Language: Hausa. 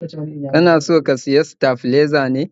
kana so ka siya staflizer ne?